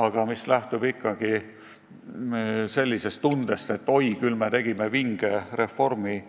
aga mis lähtub ikkagi sellisest tundest, et oi, küll me tegime vinge reformi.